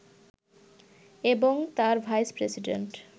এবং তার ভাইস-প্রেসিডেন্ট